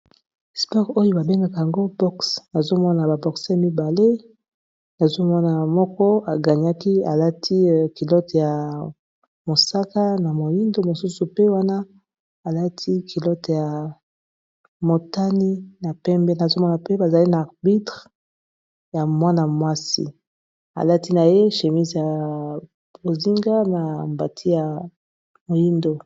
Sports oyo babengaka yango boxes nazomona ba boxeurs mibale, nazomona moko a ganyaki alati kilote ya mosaka na moindo mosusu ,pe wana alati kilote ya motani na pembe nazomona mpe bazali na arbitre ya mwana mwasi alati na ye shémise ya bozinga na mbati ya moindo.